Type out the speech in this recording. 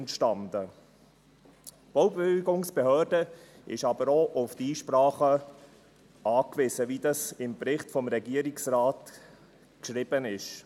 Die Baubewilligungsbehörde ist aber auch auf die Einsprachen angewiesen, wie im Bericht des Regierungsrates steht.